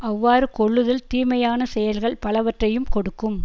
அவ்வாறு கொல்லுதல் தீமையான செயல்கள் பலவற்றையும் கொடுக்கும்